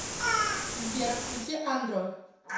сбер включи андро